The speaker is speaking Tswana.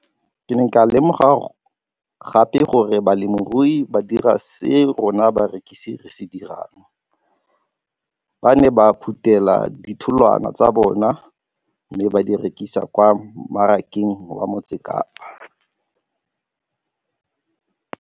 Ke ne ka lemoga gape gore balemirui ba dira seo rona barekisi re se dirang ba ne ba phuthela ditholwana tsa bona mme ba di rekisa kwa marakeng wa Motsekapa.